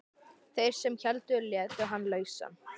Þeir sem héldu létu hann lausan.